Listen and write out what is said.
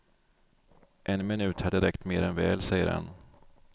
En minut hade räckt mer än väl, säger han.